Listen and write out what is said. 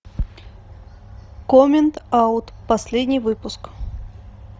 коммент аут последний выпуск